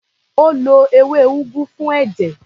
Ó lo ewé úgú fún ẹ̀jẹ̀.